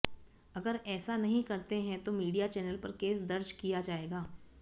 अगर ऐसा नहीं करते हैं तो मीडिया चैनल पर केस दर्ज किया जाएगा